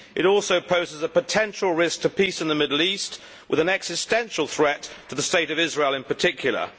They also pose a potential risk to peace in the Middle East, with an existential threat to the State of Israel in particular.